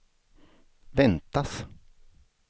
väntas